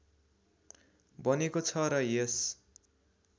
बनेको छ र यस